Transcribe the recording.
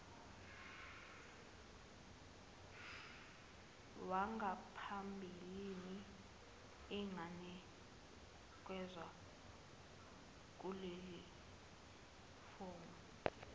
wangaphambilini inganikezwa kulelifomu